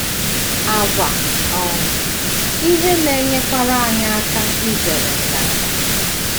Àgwà um ihe na - enyekwara anyị aka izere nganga.